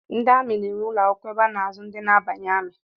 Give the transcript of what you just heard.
Ndi amị na-enwe ụlọ akwụkwọ ebe a na-azụ ndị na-abanye amị